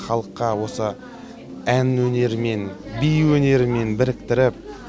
халыққа осы ән өнерімен би өнерімен біріктіріп